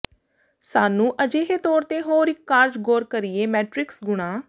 ਸਾਨੂੰ ਅਜਿਹੇ ਤੌਰ ਤੇ ਹੋਰ ਇੱਕ ਕਾਰਜ ਗੌਰ ਕਰੀਏ ਮੈਟਰਿਕਸ ਗੁਣਾ